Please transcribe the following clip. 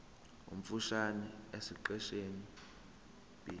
omfushane esiqeshini b